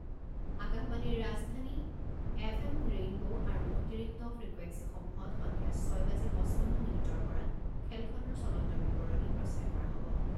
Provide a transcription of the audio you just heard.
আকাশবাণীৰ Rajdhani, F M rainbow আৰু অতিৰিক্ত ফ্ৰিকুৱেঞ্চিসমূহত সন্ধিয়া ছয় বাজি পঁচপন্ন মিনিটৰ পৰা খেলখনৰ চলন্ত বিৱৰণি প্ৰচাৰ কৰা হ'ব।